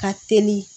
Ka teli